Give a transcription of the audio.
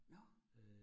Nåh